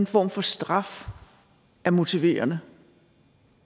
form for straf er motiverende